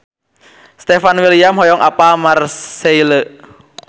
Stefan William hoyong apal Marseille